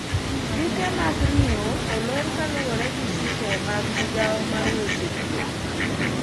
duke mar ring'o olor kaluwore gi chike mag migawo mar weche thieth